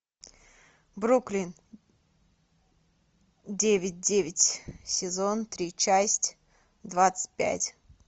бруклин девять девять сезон три часть двадцать пять